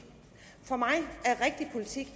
for mig er rigtig politik